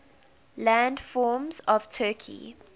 landforms of turkey